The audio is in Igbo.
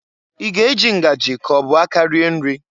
I ga- eji ngajị k'ọ bụ aka rie nri?